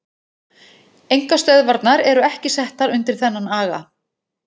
Einkastöðvarnar eru ekki settar undir þennan aga.